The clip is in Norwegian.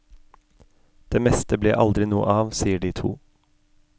Det meste ble aldri noe av, sier de to.